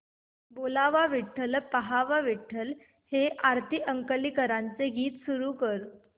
बोलावा विठ्ठल पहावा विठ्ठल हे आरती अंकलीकरांचे गीत सुरू कर